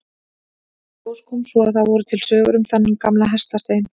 Í ljós kom svo að það voru til sögur um þennan gamla hestastein.